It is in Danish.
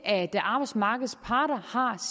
at arbejdsmarkedets parter har